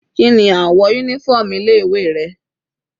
Kíni àwọ̀ uniform ilé ìwé rẹ̀?